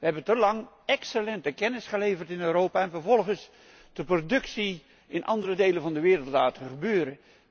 We hebben te lang excellente kennis geleverd in Europa en vervolgens de productie in andere delen van de wereld laten gebeuren.